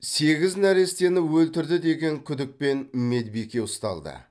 сегіз нәрестені өлтірді деген күдікпен медбике ұсталды